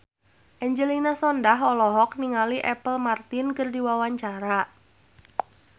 Angelina Sondakh olohok ningali Apple Martin keur diwawancara